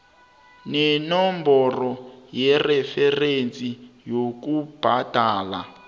nenomboro yereferensi yokubhadela